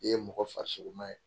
I ye mɔgɔ farisogoma ye.